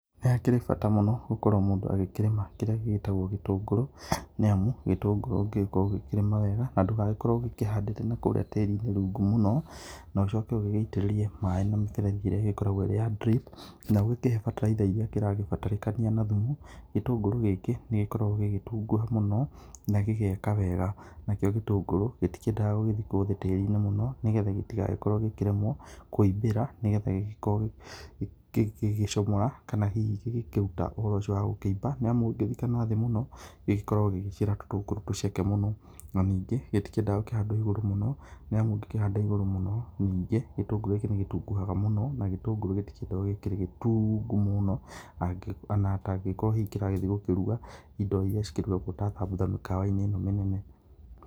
Nĩ hakĩrĩ bata mũno gũkorwo mũndũ akĩrĩma kĩrĩa gĩĩtagwo gĩtũngũrũ nĩ amũ gĩtũngũrũ ũgĩkorwo ũgĩkĩrĩma wega na ndũkarwo ũgĩ kĩhanda kũrĩa tarĩ inĩ rũngũ mũno na ũcoke ũge itĩrĩrĩe maĩ na mĩberethĩ irĩa igĩkorwo ĩrĩ ya drip, na ũkĩhee batalaitha irĩa irakĩbatarĩka na thũmũ, gĩtũngũrũ gĩkĩ nĩgĩkoragwo gĩgĩtũgũha mũno na gĩgaekaga wega nakĩo gĩtũngũrũ gĩtiendaga gĩgathĩkwo tarĩ inĩ mũno nĩ getha gĩtĩgakĩrwo gĩkĩremwo kũĩbĩra nĩ getha gĩgĩkorwo gĩgĩcomora kana hĩhĩ gĩgĩkũrũta ũhoro ũcĩo wa kũĩba nĩ amũ ũgĩkĩthĩka nathĩ mũno, gĩgũkorwo gĩgĩciara tũtũngũrũ tũceke mũno na nĩngĩ gĩtikĩendaga gũkihandwo ĩgũrũ mũno nĩ amũ ũgĩkĩhanda ĩgũrũ mũno nĩnge, gĩtũngũrũ gĩkĩ nĩkĩtũgũhaga mũno na gĩtũngũrũ gĩtĩendagwo gĩ gĩtũngũ mũno ona atangĩkorwo kĩrathĩe gũkĩrũga indo iria cikĩ rũgagwo ta thambũtha mĩkawa inĩ ĩno mĩnene.